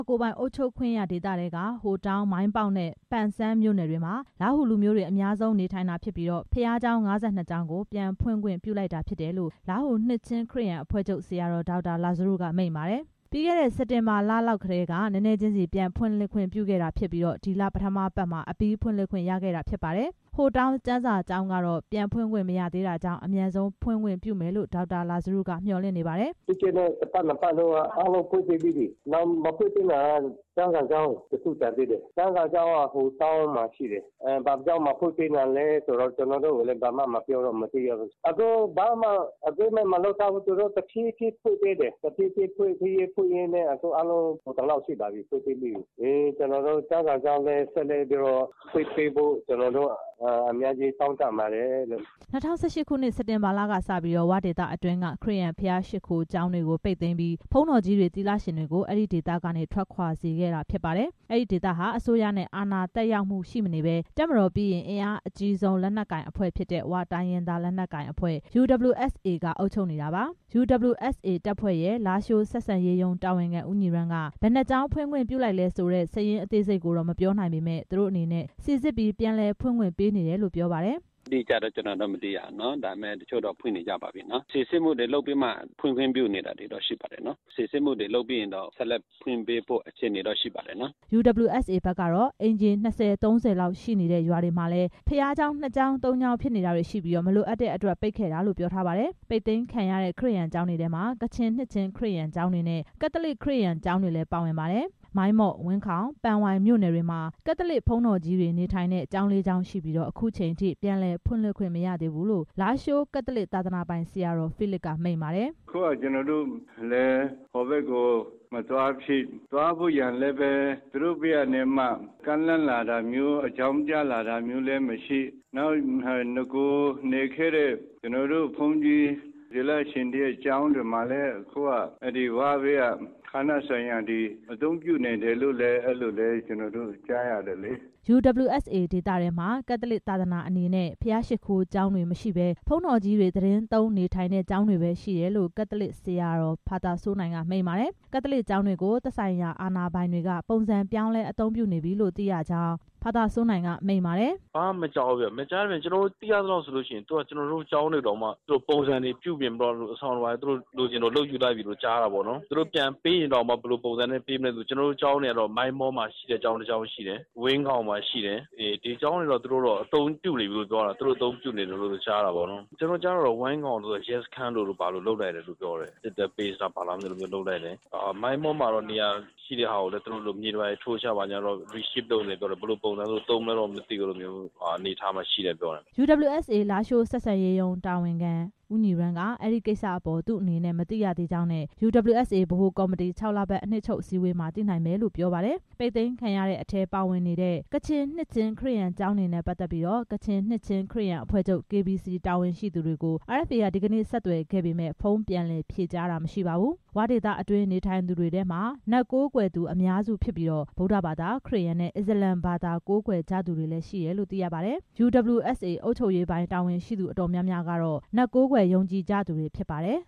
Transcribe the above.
ကိုယ်ပိုင်အုပ်ချုပ်ခွင့်ရ ဒေသထဲက ဟိုတောင်း၊ မိုင်းပေါက်နဲ့ ပန်ဆန်း မြို့နယ်တွေမှာ လားဟူလူမျိုးတွေ အများဆုံးနေထိုင်တာဖြစ်ပြီး ဘုရားကျောင်း ၅၂ ကျောင်းကို ပြန်ဖွင့်ခွင့်ပြုလိုက်တာ ဖြစ်တယ်လို့ လားဟူနှစ်ခြင်း ခရစ်ယာန်အဖွဲ့ချုပ် ဆရာတော် ဒေါက်တာ လာဇရုက မိန့်ပါတယ်။ ပြီးခဲ့တဲ့ စက်တင်ဘာလ လောက်ကတည်းက နည်းနည်းချင်းစီ ပြန်လည်ဖွင့်လှစ် ခွင့်ပြုခဲ့တာဖြစ်ပြီး ဒီလ ပထမပတ်မှာ အပြီးဖွင့်ခွင့် ရခဲ့တာဖြစ်ပါတယ်။ ဟိုတောင်းမြို့ ကျမ်းစာကျောင်းကတော့ ပြန်ဖွင့်ခွင့် မရသေးတာကြောင့် အမြန်ဆုံး ဖွင့်ခွင့်ပြုမယ်လို့ ဒေါက်တာ လာဇရုက မျှော်လင့်နေပါတယ်။ “ပြီးခဲ့တဲ့ တစ်ပတ်နှစ်ပတ်က အားလုံးဖွင့်ပေးပြီးပြီ မဖွင့်ပေးသေးတာက ကျမ်းစာကျောင်း တစ်ခု ကျန်သေးတယ်။ ကျမ်းစာကျောင်းက ဟိုတောင်းမှာ ရှိတယ်။ ဘာကြောင့်မဖွင့်ပေးတာလဲဆိုတာ ကျွန်တော်တို့ကိုဘာမှ မပြောတော့ မသိရဘူး။ ဘာမှ သဘောတူညီချက်မရှိဘူး သူတို့ တဖြည်းဖြည်း ဖွင့်ပေးရင်း အခုကုန်သလောက်ရှိပြီ ဖွင့်ပေးတယ်။ ကျမ်းစာကျောင်းလဲ ဆက်လက်ဖွင့်ပေးဖို့ တောင်းခံပါတယ်။” ၂၀၁၈ ခုနှစ် စက်တင်ဘာလ ကစပြီး "ဝ" ဒေသတွင်းက ခရစ်ယာန် ဘုရားရှိခိုးကျောင်းတွေကို ပိတ်သိမ်းပြီး ဘုန်းတော်ကြီးတွေ၊ သီလရှင်တွေကို အဲဒီဒေသကနေ ထွက်ခွာစေခဲ့တာဖြစ်ပါတယ်။ အဲဒီဒေသဟာ အစိုးရရဲ့ အာဏာသက်ရောက်မှု ရှိမနေဘဲ တပ်မတော်ပြီးရင် အင်အားအကြီးဆုံး လက်နက်ကိုင်အဖွဲ့ဖြစ်တဲ့ ဝ တိုင်းရင်းသားလက်နက်ကိုင်အဖွဲ့ UWSA က အုပ်ချုပ်နေတာပါ။ UWSA တပ်ဖွဲ့ရဲ့ လားရှိုးဆက်ဆံရေး ရုံးတာဝန်ခံ ဦးညီရမ်းက ဘယ်နှစ်ကျောင်း ဖွင့်ခွင့်ပြု လိုက်တယ်ဆိုတဲ့ စာရင်းအသေးစိတ်ကို မပြောနိုင်ပေမယ့် သူတို့အနေနဲ့ စိစစ်ပြီး ပြန်ဖွင့်ခွင့် ပေးနေတယ်လို့ ပြောပါတယ်။ “အတိအကျတော့ မသိရဘူး တစ်ချို့တော့ ဖွင့်နေကြပါပြီ။ စီစစ်မှုတွေလုပ်ပြီး ဖွင့်ပေးနေပါတယ်။ စီစစ်မှုတွေ လုပ်ပြီးရင်တော့ ဖွင့်ခွင့်ပြုသွားဖို့တွေလည်း ရှိနေပါတယ်။” UWSA ဘက်ကတော့ အိမ်ခြေ ၂၀၊ ၃၀ လောက် ရှိတဲ့ ရွာတွေမှာလည်း ဘုရားကျောင်း နှစ်ကျောင်း၊ သုံးကျောင်း ဖြစ်နေတာတွေ့ရှိပြီး မလိုအပ်တဲ့အတွက် ပိတ်ခဲ့တာလို့ ပြောထားပါတယ်။ ပိတ်သိမ်းခံရတဲ့ ခရစ်ယာန်ကျောင်းတွေထဲမှာ ကချင်နှစ်ခြင်းခရစ်ယာန်ကျောင်းတွေနဲ့ ကက်သလစ် ခရစ်ယာန် ကျောင်းတွေလည်း ပါဝင်ပါတယ်။ မိုင်းမော့၊ ဝင်းခေါင်နဲ့ ပန်ဝိုင်မြို့နယ်တွေမှာ ကက်သလစ်ဘုန်းတော်ကြီးတွေ နေထိုင်တဲ့ ကျောင်း ၄ ကျောင်းရှိပြီး အခုချိန်ထိ ပြန်လည်ဖွင့်လှစ်ခွင့် မရသေးဘူးလို့ လားရှိုးမြို့ ကက်သလစ် သာသနာပိုင် ဆရာတော် ဖီးလစ်က မိန့်ပါတယ်။ “အခုက ကျွန်တော်တို့လဲ ဟိုဘက်ကို မသွားဖြစ် သွားဖို့ရာအတွက်လည်း သူတို့ဘက်က ဘာမှ ကမ်းလှမ်းလာတာ အကြောင်းကြားတာမရှိ နောက်နဂိုနေခဲ့တဲ့ ဘုန်းကြီး သီလရှင်ကျောင်းတွေကိုလည်း ဝ ဘက်က အသုံးပြုနေတာတွေရှိတယ်လို့ ကျွန်တော်တို့ ကြားတယ်။” UWSA ဒေသထဲမှာ ကက်သလစ်သာသနာအနေနဲ့ ဘုရားရှိခိုးကျောင်းတွေမရှိဘဲ ဘုန်းတော်ကြီး သီတင်းသုံး နေထိုင်တဲ့ ကျောင်းတွေပဲရှိတယ်လို့ ကက်သလစ်ဆရာတော် ဖာသာစိုးနိုင်က မိန့်ပါတယ်။ ကက်သလစ်ကျောင်းတွေကို သက်ဆိုင်ရာ အာဏာပိုင်တွေက ပုံစံပြောင်းလဲ အသုံးပြုနေပြီလို့ သိရကြောင်း ကက်သလစ်ဆရာတော် ဖာသာစိုးနိုင်က ပြောပါတယ်။ “ဘာမှမကြားဘူး မကြားတဲ့အပြင် ကျွန်တော်တို့ကျောင်းတွေကို ပုံစံတွေပြုပြင်ပြီး သူတို့ အဆောင်တွေ သူတို့လိုချင်သလို လုပ်ယူလိုက်ပြီလို့ကြားတယ် သူတို့ပြန်ပေးရင်တောင် ဘယ်လိုပုံစံပေးမလဲ မသိဘူး။ ကျွန်တော်တို့ကျောင်းတွေက မိုင်းမော့မှာ ကျောင်းတစ်ကျောင်းရှိတယ်။ ဝင်းခေါင်မှာရှိတယ် ဒီကျောင်းတွေကို သူတို့အသုံးပြုနေပြီလို့ ကြားတယ်။ ကြားတာတော့ ဝင်းခေါင်ကို ရဲစခန်းလိုလို ဘာလိုလို လုပ်လိုက်ပြီလို့ ကြားတယ် စစ်တပ်စခန်းလား ဘာလားတော့မသိဘူး လုပ်လိုက်တယ်။ မိုင်းမောကိုလည်း မြေတွေ ထိုးချလိုက်ပြီလို့ ကြားတယ် ဘယ်လိုပုံစံလုပ်မလဲတော့ မသိဘူး အဲလိုအနေအထားရှိတယ် ပြောတယ်။” UWSA လားရှိုး ဆက်ဆံရေးတာဝန်ခံ ဦးညီရမ်းက အဲဒီကိစ္စအပေါ် သူ့အနေနဲ့ မသိရသေးကြောင်းနဲ့ UWSA ဗဟိုကော်မတီ ၆ လပတ် အနှစ်ချုပ်အစည်းအဝေးမှာ သိနိုင်လိမ့်မယ်လို့ ပြောပါတယ်။ ပိတ်သိမ်းခံရတဲ့အထဲပါဝင်တဲ့ ကချင်နှစ်ခြင်းခရစ်ယာန်ကျောင်းတွေနဲ့ ပတ်သက်ပြီး ကချင်နှစ်ခြင်း ခရစ်ယာန်အဖွဲ့ချုပ် KBC တာဝန်ရှိသူတွေကို RFA က ဒီကနေ့ ဆက်သွယ်ခဲ့ပေမယ့် ဖုန်းပြန်လည်ဖြေကြားတာ မရှိပါဘူး။ "ဝ" ဒေသတွင်း နေထိုင်သူတွေထဲမှာ နတ်ကိုးကွယ်သူ အများစုဖြစ်ပြီး ဗုဒ္ဓဘာသာ၊ ခရစ်ယာန်နဲ့ အစ္စလာမ်ဘာသာ ကိုးကွယ်ကြသူတွေလည်း ရှိတယ်လို့ သိရပါတယ်။ UWSA အုပ်ချုပ်ရေးပိုင်း တာဝန်ရှိသူ အတော်များများဟာ နတ်ကိုးကွယ်ယုံကြည်ကြ သူတွေဖြစ်ပါတယ်